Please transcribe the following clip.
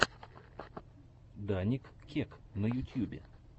даник кек на ютьюбе